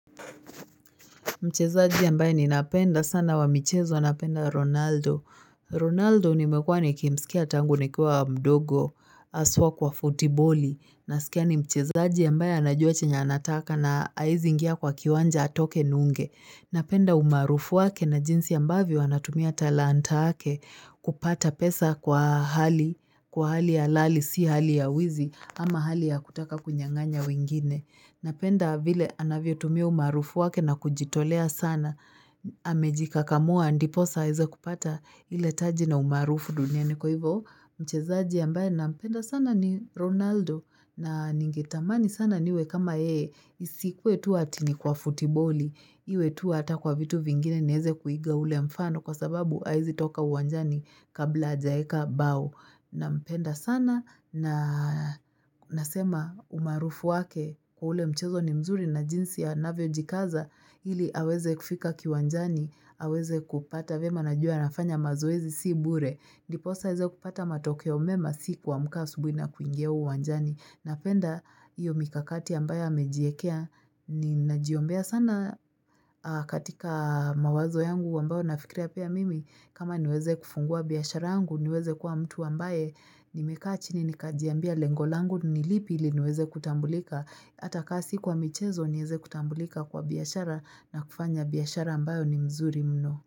Mchezaji ambaye ninapenda sana wa michezo, napenda Ronaldo. Ronaldo nimekuwa nikimsikia tangu nikuwa mdogo haswa kwa futiboli. Nasikia ni mchezaji ambaye anajua chenye anataka na hawezi ingia kwa kiwanja atoke nunge. Napenda umaarufu wake na jinsi ambavyo anatumia talanta yake kupata pesa kwa hali halali si hali ya wizi ama hali ya kutaka kunyang'anya wengine. Napenda vile anavyotumia umaarufu wake na kujitolea sana. Amejikakamua ndiposa aweze kupata ile taji na umaarufu duniani. Kwa hivyo Mchezaji ambaye nampenda sana ni Ronaldo na ningetamani sana niwe kama yeye. Isikuwe tu ati ni kwa futiboli. Iwe tu hata kwa vitu vingine niweze kuiga ule mfano kwa sababu hawezi toka uwanjani kabla hajaeka mbao. Nampenda sana na nasema umaarufu wake kwa ule mchezo ni mzuri na jinsi anavyo jikaza ili aweze kufika kiwanjani, aweze kupata vyema. Najua nafanya mazoezi si bure, ndiposa aweze kupata matokeo mema si kuamka asubuhi na kuingia uwanjani. Napenda iyo mikakati ambayo amejiekea, ninajiombea sana katika mawazo yangu ambayo nafikiria pia mimi kama niweze kufungua biashara yangu niweze kuwa mtu ambaye nimekaa chini nikajiambia lengo langu ni lipi ili niweze kutambulika hata kama si kwa michezo niweze kutambulika kwa biashara na kufanya biashara ambayo ni mzuri mno.